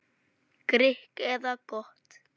Grikk eða gott?